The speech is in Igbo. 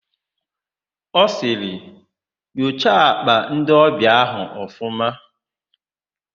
Ọ sịrị, "nyocha àkpà ndịọbịa áhụ̀ ọfụma"!.